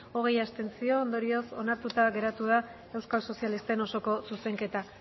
hogei abstentzio ondorioz onartuta geratu da euskal sozialisten osoko zuzenketa